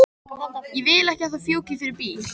Ég vil ekki að þú fjúkir fyrir bíl.